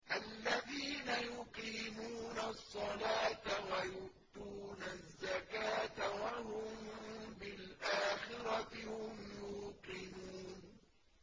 الَّذِينَ يُقِيمُونَ الصَّلَاةَ وَيُؤْتُونَ الزَّكَاةَ وَهُم بِالْآخِرَةِ هُمْ يُوقِنُونَ